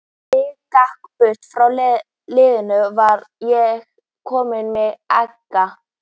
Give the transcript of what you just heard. Þegar ég gekk burt frá leiðinu, var ég kominn með ekka.